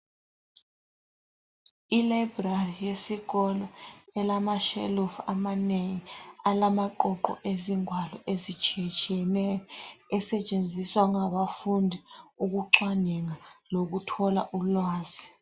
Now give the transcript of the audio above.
Ilayibrari yesikolo elamashelufu amanengi, alamaqoqo ezingwalo ezitshiyetshiyeneyo ezisetshenziswa ngabafundi ukucwaninga lokuthola ulwazi.